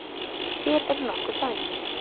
Hér eru nokkur dæmi